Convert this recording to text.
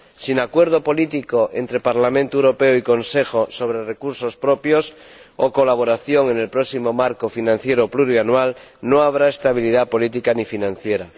Sin acuerdo político entre el Parlamento Europeo y el Consejo sobre recursos propios o colaboración en el próximo marco financiero plurianual, no habrá estabilidad política ni financiera.